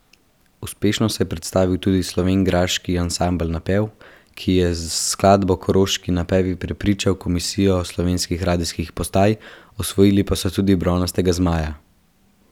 Uspešno se je predstavil tudi slovenjgraški ansambel Napev, ki je s skladbo Koroški napevi prepričal komisijo slovenskih radijskih postaj, osvojili pa so tudi bronastega zmaja.